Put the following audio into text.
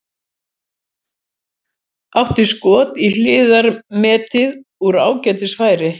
Átti skot í hliðarnetið úr ágætis færi.